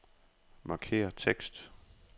Markér tekst.